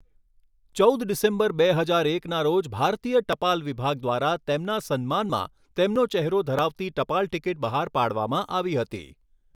ચૌદ ડિસેમ્બર, બે હજાર એકના રોજ ભારતીય ટપાલ વિભાગ દ્વારા તેમના સન્માનમાં તેમનો ચહેરો ધરાવતી ટપાલ ટિકિટ બહાર પાડવામાં આવી હતી.